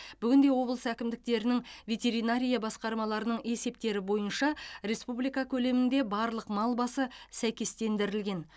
бүгінде облыс әкімдіктерінің ветеринария басқармаларының есептері бойынша республика көлемінде барлық мал басы сәйкестендірілген